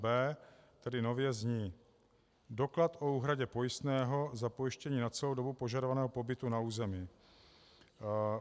b) tedy nově zní: doklad o úhradě pojistného za pojištění na celou dobu požadovaného pobytu na území".